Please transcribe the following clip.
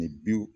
bi